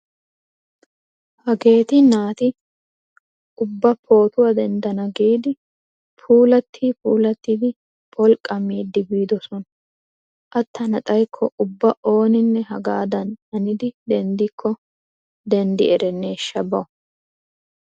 Hageeti naati ubba pootuwa denddana giidi puulattii puulattidi pholqqamidi biidosona. Attana xaykko ubba ooninne hagaadan hanidi denddikko denddi erenneeshsha bawu!